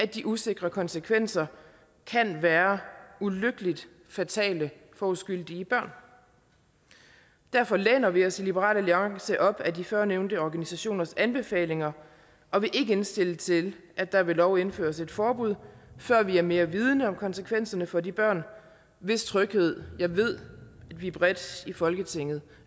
de usikre konsekvenser kan være ulykkeligt fatale for uskyldige børn derfor læner vi os i liberal alliance op ad de førnævnte organisationers anbefalinger og vil ikke indstille til at der ved lov indføres et forbud før vi er mere vidende om konsekvenserne for de børn hvis tryghed jeg ved vi bredt i folketinget